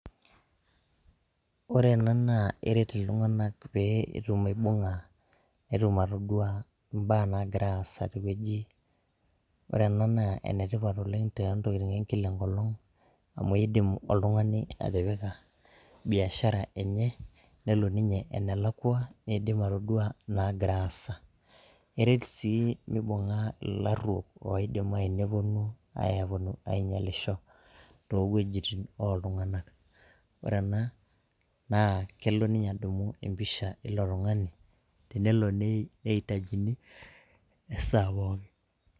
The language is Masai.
Ore ena naa eret iltung'anak pee etum aibung'a, netum atodua imbaa nagira aasa tewueji. Ore ena naa enetipat oleng tontokiting ekila enkolong, amu idim oltung'ani atipika biashara enye, nelo ninye enelakwa, niidim atodua nagira aasa. Eret sii mibing'a ilarruok oidim ayu neponu ainyalisho, towuejiting oltung'anak. Ore ena, naa kelo ninye adumu empisha ilo tung'ani, tenelo neitajini esaa pookin.